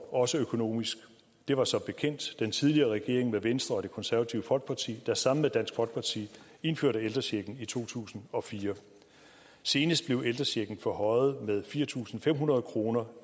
også økonomisk det var som bekendt den tidligere regering med venstre og det konservative folkeparti der sammen med dansk folkeparti indførte ældrechecken i to tusind og fire senest blev ældrechecken forhøjet med fire tusind fem hundrede kroner